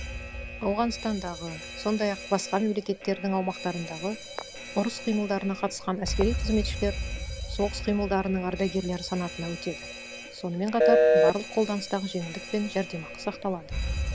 ауғанстандағы сондай ақ басқа мемлекеттердің аумақтарындағы ұрыс қимылдарына қатысқан әскери қызметшілер соғыс қимылдарының ардагерлері санатына өтеді сонымен қатар барлық қолданыстағы жеңілдік пен жәрдемақы сақталады